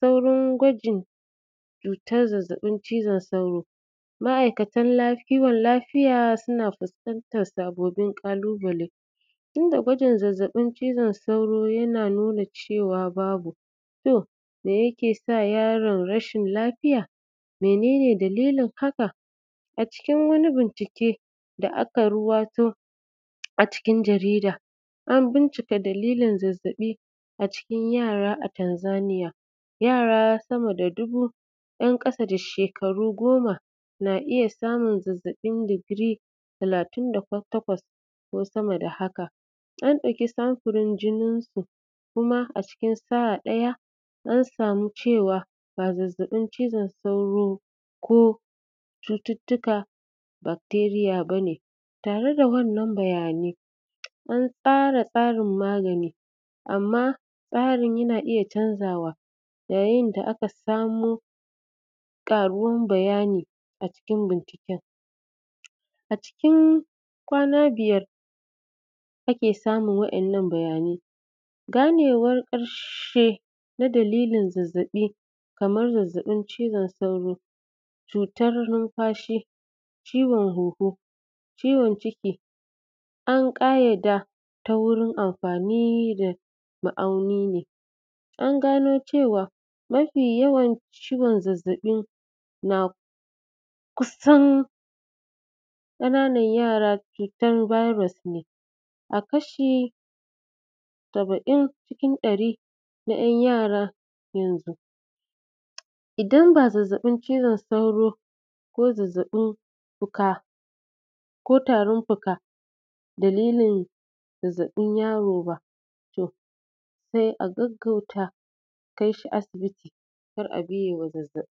saurin gwajin cutar zazzaɓin cizon sauro, ma’aikatan kiwon lafiya suna fuskantar sababbin ƙalubale, inda gwajin zazzaɓin cizon sauro yana nuna cewa babu. To, me yake sa yaro rashin lafiya? Mene ne dalilin haka? A cikin wani bincike da aka ruwaito a cikin jarida, an bincika dalilin zazzaɓi a cikin yara a Tanzania, yara sama da dubu, ‘yan ƙasa da shekaru goma, na iya samun zazzaɓin digiri talatin da takwas ko sama da haka. An ɗauki samfurin jininsu kuma a cikin sa’a ɗaya, an samu cewa, ba zazzaɓin cizon sauro ko cututtukan bacteria ba ne. Tare da wannan bayani, an tsara tsarin magani, amma tsarin yana iya canzawa, yayin da aka samo ƙaruwar bayani a cikin binciken. A cikin kwana biyar, ake samun waɗannan bayanai. Ganewar ƙarshe ta dalilin zazzaɓi kamar zazzaɓin cizon sauro, cutar numfashi, ciwon huhu, ciwon ciki, an ƙayyade ta wurin amfani da ma’auni ne. An gano cewa, mafi yawan ciwon zazzaɓi na kusan ƙananan yara, cutar virus ne.. A kashi saba’in cikin ɗari, na ‘yan yaran yanzu. Idan ba zazzaɓin cizon sauro ko zazzaɓin fuka ko tarin fuka dalilin zazzaɓin yaro ba, to sai a gaggauta, a kai shi asibiti, kar a biye wa zazzaɓi.